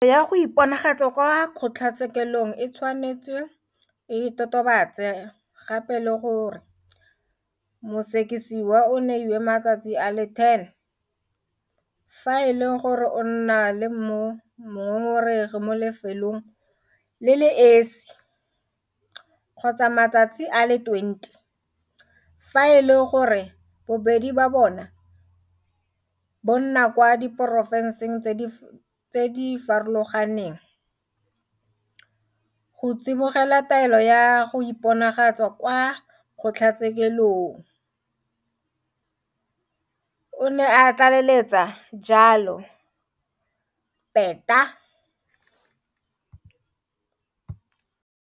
Taelo ya go iponagatsa kwa kgotlatshekelo e tshwanetse e totobatse gape le gore mosekisiwa o neilwe matsatsi a le 10 fa e le gore o nna le mongongoregi mo lefelong le le esi, kgotsa matsatsi a le 20 fa e le gore bobedi bo nna kwa diporofenseng tse di farologaneng, go tsibogela taelo ya go iponagatsa kwa kgotlatshekelo, o ne a tlaleletsa jalo Peta.